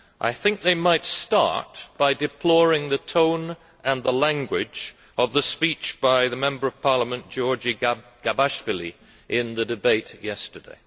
I think they might start by deploring the tone and the language of the speech by the Member of the Georgian Parliament Giorgi Gabashvili in the debate yesterday.